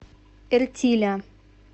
эртиля